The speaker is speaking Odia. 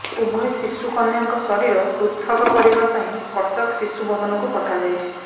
ଉଭୟ ଶିଶୁ କନ୍ୟାଙ୍କ ଶରୀର ପୃଥକ କରିବାପାଇଁ କଟକ ଶିଶୁ ଭବନକୁ ପଠାଯାଇଛି